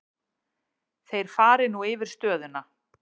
Þeir fari nú yfir stöðuna.